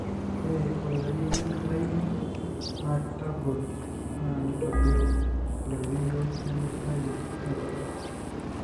Ore oloirerio lemitayuno na kitagol na nitobir oloirerio lemitayu eikata.